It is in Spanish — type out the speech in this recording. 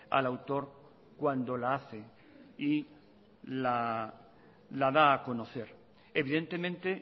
al autor cuando la hace y la da a conocer evidentemente